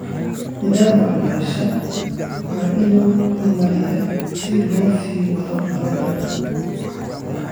Nidaamka waxbarashada waa inuu horumariyaa si loo sii wado nabadda.